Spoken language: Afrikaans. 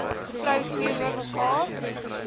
vrou teenoor mekaar